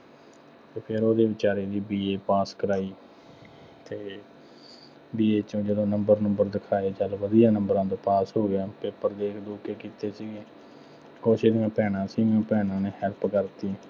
ਅਤੇ ਫੇਰ ਉਹਦੇ ਬੇਚਾਰੇ ਦੀ BA pass ਕਰਾਈ। ਅਤੇ BA ਚੋਂ ਜਦੋਂ number ਨੂੰਬਰ ਦਿਖਾਏ, ਜਦ ਵਧੀਆਂ ਨੰਬਰਾਂ ਤੇ pass ਹੋ ਗਿਆ, paper ਦੇਖ ਦੂਖ ਕੇ ਕੀਤੇ ਸੀ। ਕੁੱਛ ਇਹਦੀਆਂ ਭੈਣਾਂ ਸੀ, ਭੈਣਾਂ ਨੇ help ਕਰਤੀ।